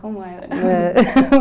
Como era?